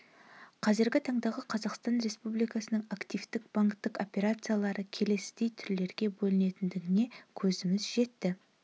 қазіргі таңдағы қазақстан республикасының активтік банктік операциялары келесідей түрлерге бөлінетіндігіне көзіміз жетті